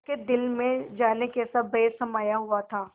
उसके दिल में जाने कैसा भय समाया हुआ था